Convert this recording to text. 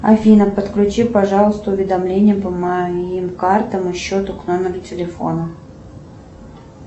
афина подключи пожалуйста уведомления по моим картам и счету к номеру телефона